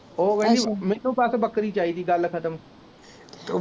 ਉਹ ਕਹਿੰਦੀ ਮੈਨੂੰ ਬੱਸ ਬੱਕਰੀ ਚਾਹੀਦੀ ਗੱਲ ਖ਼ਤਮ